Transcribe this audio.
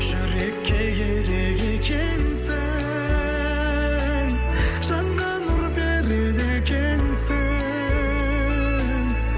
жүрекке керек екенсің жанға нұр береді екенсің